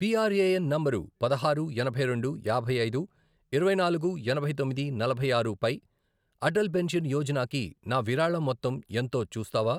PRAN number పదహారు, ఎనభై రెండు, యాభై ఐదు, ఇరవై నాలుగు, ఎనభై తొమ్మిది, నలభై ఆరు, పై అటల్ పెన్షన్ యోజనాకి నా విరాళం మొత్తం ఎంతో చూస్తావా?